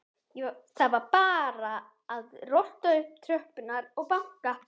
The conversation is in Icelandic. Það var bara að rölta upp tröppurnar og banka.